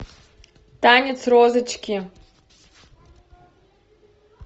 танец розочки